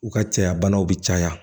U ka caya banaw bi caya